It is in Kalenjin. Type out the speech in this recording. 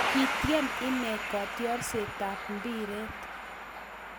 kitiem inne kotiorsetab mbiret